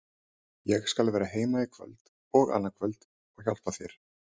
Ég skal vera heima í kvöld og annað kvöld og hjálpa þér.